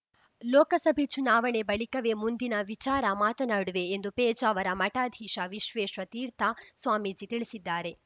ಲೋಕಸಭೆ ಚುನಾವಣೆ ಬಳಿಕವೇ ಮುಂದಿನ ವಿಚಾರ ಮಾತನಾಡುವೆ ಎಂದು ಪೇಜಾವರ ಮಠಾಧೀಶ ವಿಶ್ವೇಶ ತೀರ್ಥ ಸ್ವಾಮೀಜಿ ತಿಳಿಸಿದ್ದಾರೆ